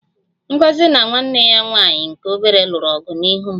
Ngozi na nwanne ya nwanyị nke obere lụrụ ọgụ n'ihu m